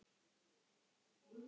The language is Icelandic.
Ragnar Darri.